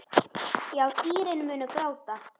Já, dýrin munu gráta.